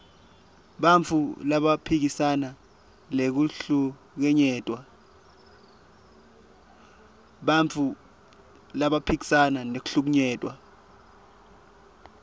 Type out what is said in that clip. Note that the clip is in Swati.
bantfu labaphikisana nekuhlukunyetwa